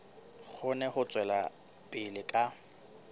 kgone ho tswela pele ka